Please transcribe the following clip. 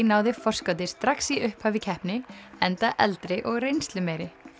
náði forskoti strax í upphafi keppni enda eldri og reynslumeiri